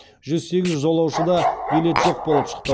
жүз сегіз жолаушыда билет жоқ болып шықты